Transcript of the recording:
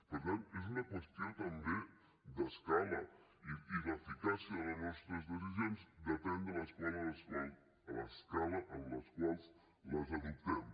per tant és una qüestió també d’escala i l’eficàcia de les nostres decisions depèn de l’escala en les quals les adoptem